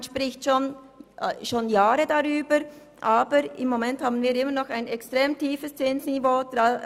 Man spricht seit Jahren darüber, aber gegenwärtig haben wir immer noch ein extrem tiefes Zinsniveau.